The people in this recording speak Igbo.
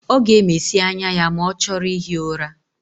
Ọ ga-emesi anya ya ma ọ chọrọ ihi ụra.